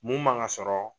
Mun man ka sɔrɔ